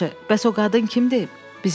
Yaxşı, bəs o qadın kimdir?